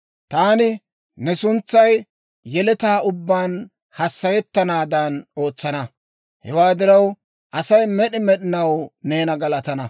Taani ne suntsay yeletaa ubbaan hassayettanaadan ootsana. Hewaa diraw, Asay med'i med'inaw neena galatana.